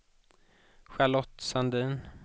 Charlotte Sandin